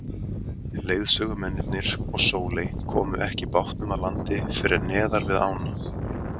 Leiðsögumennirnir og Sóley komu ekki bátnum að landi fyrr en neðar við ána.